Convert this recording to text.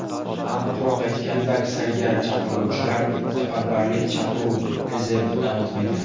Aniqroq aytganda, aksariyat chaqiriluvchilar safarbarlik chaqiruv rezervidan o‘tmagan.